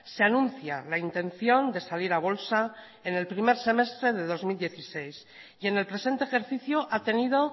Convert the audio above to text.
se anuncia la intención de salir a bolsa en el primer semestre de dos mil dieciséis y en el presente ejercicio ha tenido